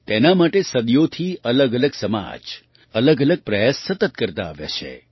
તેના માટે સદીઓથી અલગઅલગ સમાજ અલગઅલગ પ્રયાસ સતત કરતા આવ્યા છે